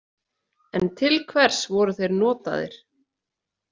En til hvers voru þeir notaðir?